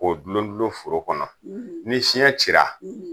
K'o dulon dulon foro kɔnɔ , ni fiɲɛ cila